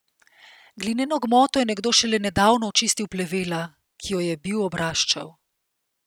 Glineno gmoto je nekdo šele nedavno očistil plevela, ki jo je bil obraščal.